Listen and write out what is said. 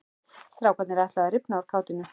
Strákarnir ætluðu að rifna úr kátínu.